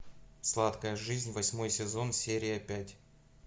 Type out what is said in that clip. сладкая жизнь восьмой сезон серия пять